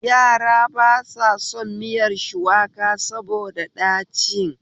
Yara ba sa son miyar shuwaka saboda ɗacin